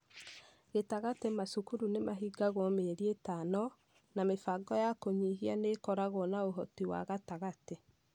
Gĩtagatĩ- macukuru nĩ mahingagwo mĩeri ĩtano, na mĩbango ya kũnyihia nĩ ĩkoragwo na ũhoti wa gatagatĩ..